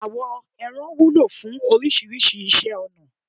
Àwọ ẹran wúlò fún oríṣiríṣi iṣẹ́ ọnà.